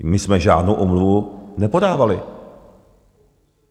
My jsme žádnou omluvu nepodávali.